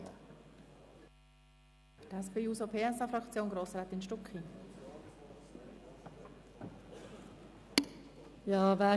Für die SP-JUSO-PSA-Fraktion hat Grossrätin Stucki das Wort.